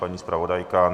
Paní zpravodajka?